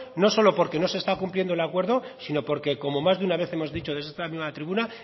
no solo porque no se está cumpliendo el acuerdo sino porque como más de una vez hemos dicho desde esta misma tribuna